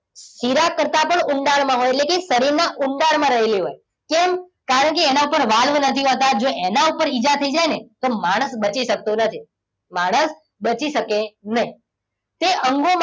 શિરા કરતા પણ ઊંડાણમાં હોય એટલે કે શરીરના ઊંડાણમાં રહેલી હોય. કેમ કારણ કે એના પર વાલ્વ નથી હોતા એના ઉપર ઇજા થઈ જાય ને તો માણસ બચી શકતો નથી. માણસ બચી શકે નહીં. તે અંગોમાં,